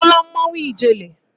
Ị hụla mmanwụ ijele?